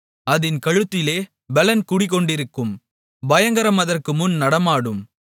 அதின் கழுத்திலே பெலன் குடிகொண்டிருக்கும் பயங்கரம் அதற்குமுன் நடனமாடும்